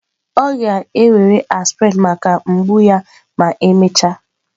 Ọ ga-ewere aspirin maka mgbu ya ma emechaa.